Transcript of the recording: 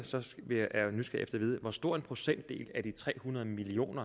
at vide hvor stor en procentdel af de tre hundrede million